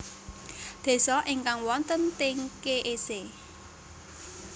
Désa ingkang wonten teng kec